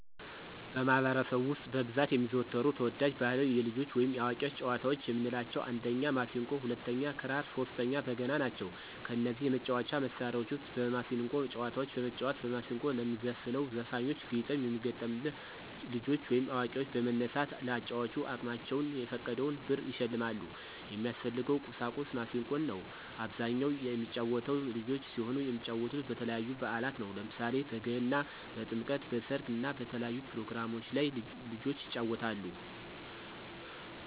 በማህበረሰቡ ውስጥ በብዛት የሚዘወተሩ ተወዳጅ ባህላዊ የልጆች ወይም የአዋቂዎች ጨዋታዎች የምንላቸው 1 የማሲንቆ 2 ክራር 3 በገና ናቸው። ከነዚህ የመጫወቻ መሣሪያዎች ውስጥ የማሲንቆን ጨዋታዎች በመጫወት በማስንቆ ለሚዘፍነው ዘፋኞች ግጥም የሚገጠምላ ልጆች ወይም አዋቂዎች በመነሳት ለአጫዋቹ አቅማቸውን የፈቀደውን ብር ይሸልማሉ። የሚያስፈልገው ቁሳቁስ ማሲንቆ ነው። በአብዛኛው የሚጫወተው ልጆች ሲሆኑ የሚጫወቱት በተለያዩ በአላት ነው። ለምሳሌ በገና፣ በጥምቀት፣ በሰርግ እና በተለያዩ ፕሮግራሞች ላይ ልጆች ይጫወታሉ።